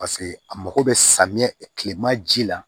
Paseke a mago bɛ samiyɛ kilema ji la